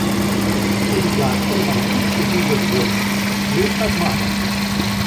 Tudi Gašper Marguč je bil zadovoljen: "Lepa zmaga.